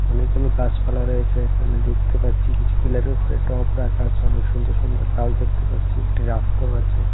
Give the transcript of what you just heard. অনেকগুলো গাছপালা রয়েছে এখানে দেখতে পারছি কিছু ফিলার -এর উপরে টব রাখা আছে অনেক সুন্দর সুন্দর গাছ দেখতে পাচ্ছি একটি রাস্তাও আছে।